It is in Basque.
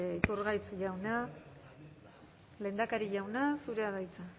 iturgaiz jauna lehendakari jauna zurea da hitza